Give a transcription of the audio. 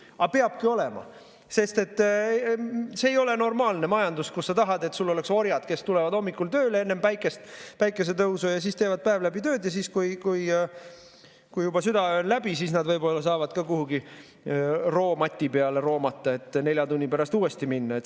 Aga peabki olema, sest see ei ole normaalne majandus, kus sa tahad, et sul oleks orjad, kes tulevad hommikul tööle enne päikesetõusu, teevad päev läbi tööd ja kui juba südaöö on läbi, siis nad võib-olla saavad ka kuhugi roomati peale roomata, et nelja tunni pärast uuesti minna.